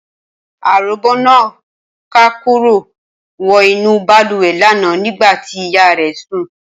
Aròbó náà rákòrò wọ inú bàlùwẹ̀ lánàá nígbà tí ìyá rẹ̀ sùn